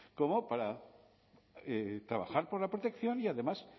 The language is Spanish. como para trabajar por la protección y además